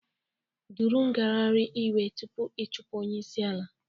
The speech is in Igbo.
Duru ngagharị iwe tupu ị chụpụ onye isi ala